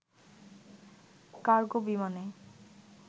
cargo বিমানে